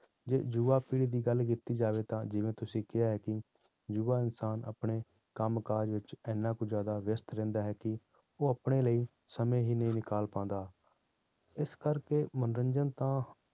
ਜੇ ਜੁਵਾ ਪੀੜ੍ਹੀ ਦੀ ਗੱਲ ਕੀਤੀ ਜਾਵੇ ਤਾਂ ਜਿਵੇਂ ਤੁਸੀਂ ਕਿਹਾ ਹੈ ਕਿ ਜੁਵਾ ਇਨਸਾਨ ਆਪਣੇ ਕੰਮ ਕਾਜ ਵਿੱਚ ਇੰਨਾ ਕੁ ਜ਼ਿਆਦਾ ਵਿਅਸ਼ਤ ਰਹਿੰਦਾ ਹੈ ਕਿ ਉਹ ਆਪਣੇ ਲਈ ਸਮੇਂ ਹੀ ਨਹੀਂ ਨਿਕਾਲ ਪਾਉਂਦਾ, ਇਸ ਕਰਕੇ ਮਨੋਰੰਜਨ ਤਾਂ